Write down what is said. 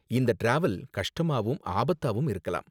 இந்த டிராவல் கஷ்டமாவும் ஆபத்தாவும் இருக்கலாம்.